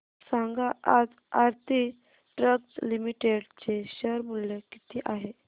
सांगा आज Aarti drugs limited चे शेअर मूल्य किती आहे